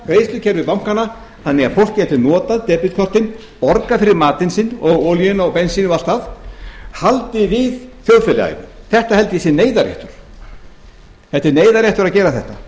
bjarga greiðslukerfi bankanna þannig að fólk gæti notað debetkortin borgað fyrir matinn sinn olíuna og bensínið og allt það haldið við þjóðfélaginu þetta held ég að sé neyðarréttur það er neyðarréttur að gera þetta